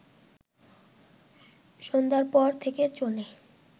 সন্ধ্যার পর থেকে চলে